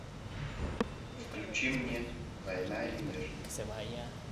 включи мне война и мир